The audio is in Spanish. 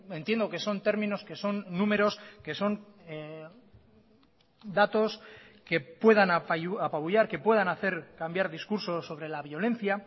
entiendo que son términos que son números que son datos que puedan apabullar que puedan hacer cambiar discursos sobre la violencia